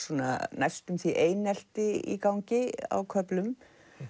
næstum því einelti í gangi á köflum